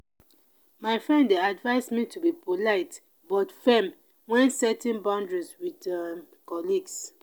my friend dey advise me to be polite but firm when setting boundaries with um colleagues.